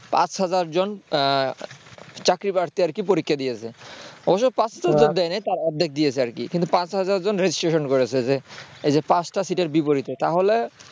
পাঁচ হাজাৱ জন চাকরিপ্রার্থী আরকি পরীক্ষা দিয়েছে তবে পাঁচ হাজার জন দেয়নি তার অর্ধেক দিয়েছে আর কিন্তু পাঁচ হাজার জন registration করেছে পাঁচটা সিটের বিপরীতে